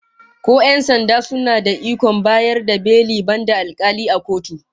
Ko 'yan sanda suna da ikon bayar da beli, banda alkali a kotu?